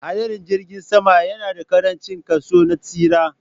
Hadarin jirgin sama yana da ƙarancin kaso na tsira